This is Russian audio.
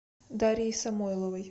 дарьей самойловой